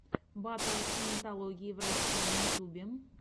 батл саентологии в россии на ютюбе